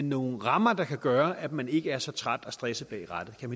nogle rammer der kan gøre at man ikke er så træt og stresset bag rattet